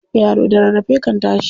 Yaro da rarrafe kan tashi.